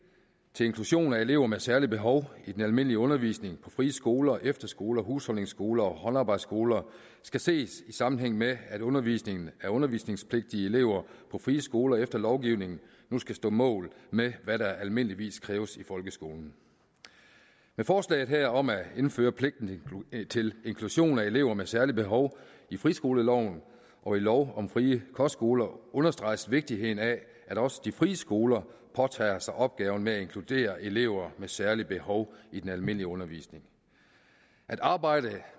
til inklusion af elever med særlige behov i den almindelige undervisning på frie skoler efterskoler husholdningsskoler og håndarbejdsskoler skal ses i sammenhæng med at undervisningen af undervisningspligtige elever på frie skoler efter lovgivningen nu skal stå mål med hvad der almindeligvis kræves i folkeskolen med forslaget her om at indføre pligt til inklusion af elever med særlige behov i friskoleloven og i lov om frie kostskoler understreges vigtigheden af at også de frie skoler påtager sig opgaven med at inkludere elever med særlige behov i den almindelige undervisning at arbejde